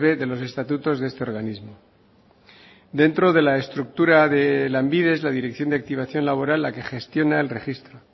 de los estatutos de este organismo dentro de la estructura de lanbide es la dirección de activación laboral la que gestiona el registro